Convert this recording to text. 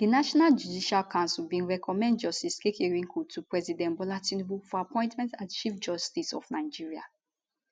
di national judicial council bin recommend justice kekereekun to president bola tinubu for appointment as chief justice of nigeria